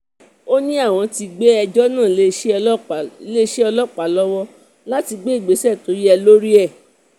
ó ní àwọn ti gbé ẹjọ́ náà lé iléeṣẹ́ ọlọ́pàá lọ́wọ́ láti gbé ìgbésẹ̀ tó bá tún yẹ̀ lórí ẹ̀